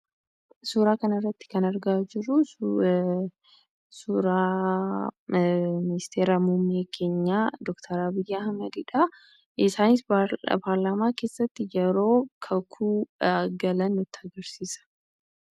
Suuraa kanarratti kan argaa jirru suuraa ministeera muummee keenyaa doktar Abiyyii Ahmadidha. Isaanis paarlaamaa keessatti yeroo kakuu galan nutti agarsiisa.